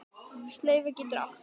Slaufa getur átt við